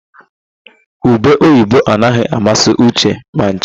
Ube oyibo anaghị amasị Uche ma ncha.